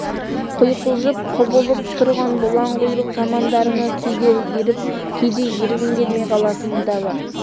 құйқылжып құбылып тұрған бұлаң құйрық замандарыңа кейде еріп кейде ергім келмей қалатыны да бар